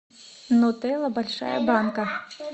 нутелла большая банка